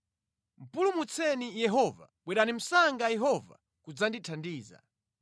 Pulumutseni Yehova; Bwerani msanga Yehova kudzandithandiza.